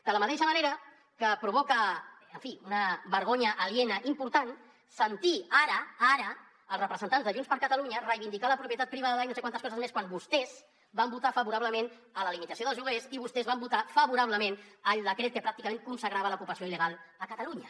de la mateixa manera que provoca en fi una vergonya aliena important sentir ara ara els representants de junts per catalunya reivindicar la propietat privada i no sé quantes coses més quan vostès van votar favorablement la limitació dels lloguers i vostès van votar favorablement el decret que pràcticament consagrava l’ocupació illegal a catalunya